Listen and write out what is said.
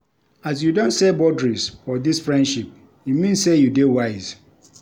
As you don set boudaries for dis friendship, e mean sey you dey wise.